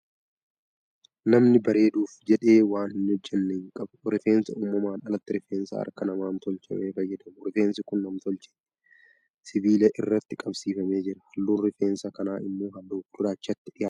Namni bareeduuf jedhee waan hin hojjenne hin qabu. Rifeensa uumamaan alatti rifeensa harka namaan tolchame fayyadamu. Rifeensi kun nam-tilcheeti. Sibiila irratti qabsiifamee jira. Halluun rifeensa kanaa immoo halluu gurraachatti dhiyaata.